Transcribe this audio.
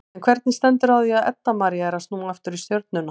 En hvernig stendur á því að Edda María er að snúa aftur í Stjörnuna?